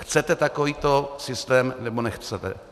Chcete takovýto systém, nebo nechcete?